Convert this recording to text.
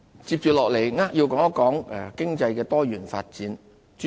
接下來，我扼要地說一說經濟的多元發展。